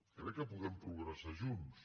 crec que podem progressar junts